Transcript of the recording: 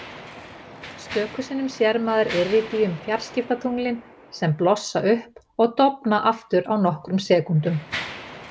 Stöku sinnum sér maður Iridíum-fjarskiptatunglin sem blossa upp og dofna aftur á nokkrum sekúndum.